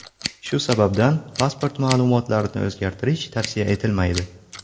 Shu sababdan pasport ma’lumotlarni o‘zgartirish tavsiya etilmaydi.